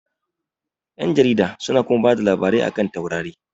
Ƴan jarida su na kuma bada labarai a kan taurari